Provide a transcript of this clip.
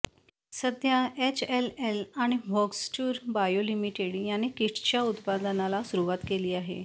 सध्या एचएलएल आणि Voxtur bio limited यांनी किट्सच्या उत्पादनाला सुरुवात केली आहे